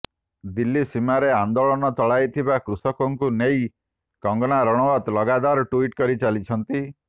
ଦିଲ୍ଲୀ ସୀମାରେ ଆନ୍ଦୋଳନ ଚଳାଇଥିବା କୃଷକଙ୍କୁ ନେଇ କଙ୍ଗନା ରଣାଓ୍ବତ ଲଗାତର ଟ୍ବିଟ୍ କରି ଚାଲିଛନ୍ତି